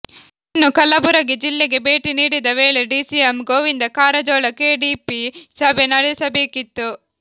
ಇನ್ನು ಕಲಬುರಗಿ ಜಿಲ್ಲೆಗೆ ಭೇಟಿ ನೀಡಿದ ವೇಳೆ ಡಿಸಿಎಂ ಗೋವಿಂದ ಕಾರಜೋಳ ಕೆಡಿಪಿ ಸಭೆ ನಡೆಸಬೇಕಿತ್ತು